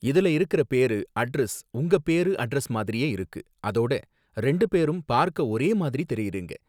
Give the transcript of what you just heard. இதுல இருக்குற பேரு, அட்ரஸ் உங்க பேரு அட்ரஸ் மாதிரியே இருக்கு, அதோட ரெண்டு பேரும் பார்க்க ஒரே மாதிரி தெரியுறீங்க